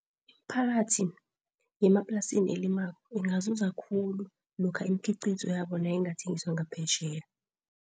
Imiphakathi yemaplasini elimako ingazuza khulu. Lokha imikhiqizo yabo nayingathengiswa ngaphetjheya.